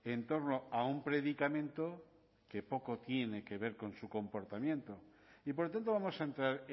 en torno a un predicamento que poco tiene que ver con su comportamiento y por tanto vamos a entrar